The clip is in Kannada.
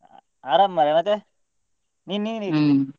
ಅರಾಮ್ ಮಾರೆ ಮತ್ತೆ ನೀನ್ ನೀನ್ ಹೇಗಿದ್ದಿ?